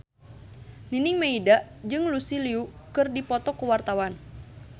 Nining Meida jeung Lucy Liu keur dipoto ku wartawan